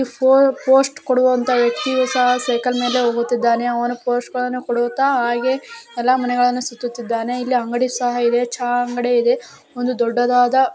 ಪೋ ಪೋಸ್ಟ್ ಕೊಡುವಂತ ವ್ಯಕ್ತಿಯೂ ಸಹಾ ಸೈಕಲ್‌ ಮೇಲೆ ಹೋಗುತ್ತಿದ್ದಾನೆ. ಅವನು ಪೋಸ್ಟ್‌ ಗಳನ್ನು ಕೊಡುತ್ತಾ ಹಾಗೆ ಎಲ್ಲಾ ಮನೆಗಳನ್ನು ಸುತ್ತುತ್ತಿದ್ದಾನೆ. ಇಲ್ಲಿ ಅಂಗಡಿ ಸಹಾ ಇದೆ. ಛಾ ಅಂಗಡಿ ಇದೆ. ಒಂದು ದೊಡ್ಡದಾದ --